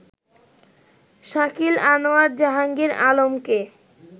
শাকিল আনোয়ার জাহাঙ্গীর আলমকে